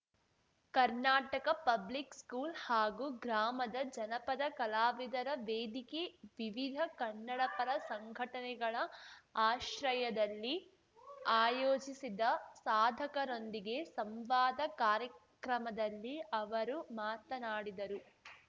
Karnataka public school ಹಾಗೂ ಗ್ರಾಮದ ಜನಪದ ಕಲಾವಿದರ ವೇದಿಕೆ ವಿವಿಧ ಕನ್ನಡಪರ ಸಂಘಟನೆಗಳ ಆಶ್ರಯದಲ್ಲಿ ಆಯೋಜಿಸಿದ್ದ ಸಾಧಕರೊಂದಿಗೆ ಸಂವಾದ ಕಾರ್ಯಕ್ರಮದಲ್ಲಿ ಅವರು ಮಾತನಾಡಿದರು